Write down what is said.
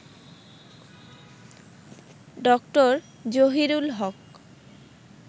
ড. জহিরুল হক